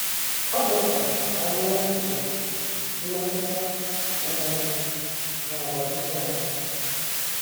Ọ dị mkpa ka anyị mara echiche, mmetụta um, na àgwà Jisọs.